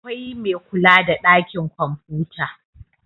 akwai Mai kula da ɗakin kwamfuta